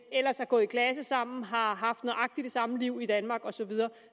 ellers har gået i klasse sammen og har haft nøjagtig det samme liv i danmark og så videre